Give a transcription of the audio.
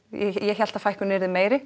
ég hélt að fækkunin yrði meiri